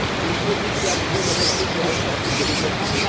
Il faut mutualiser nos ressources de recherche et de développement.